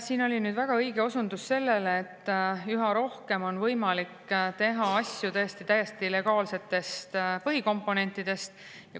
Siin oli väga õige osundus sellele, et üha rohkem on võimalik teha asju täiesti legaalsetest põhikomponentidest.